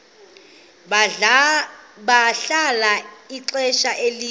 bahlala ixesha elide